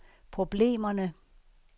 problemerne